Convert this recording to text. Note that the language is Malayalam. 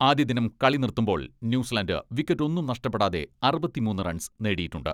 ആദ്യ ദിനം കളി നിർത്തുമ്പോൾ ന്യൂസിലാന്റ് വിക്കറ്റൊന്നും നഷ്ടപ്പെടാതെ അറുപത്തിമൂന്ന് റൺസ് നേടിയിട്ടുണ്ട്.